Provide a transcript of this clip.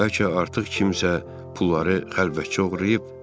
Bəlkə artıq kimsə pulları xəlvətcə oğurlayıb.